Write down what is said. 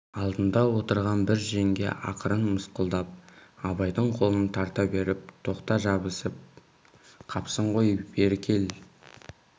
алдында отырған бір жеңге ақырын мысқылдап абайдың қолын тарта беріп тоқта жабысып қапсың ғой бері кел